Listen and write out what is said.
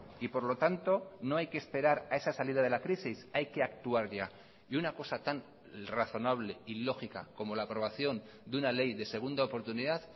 y por lo tanto no hay que esperar a esa salida de la crisis hay que actuar ya y una cosa tan razonable y lógica como la aprobación de una ley de segunda oportunidad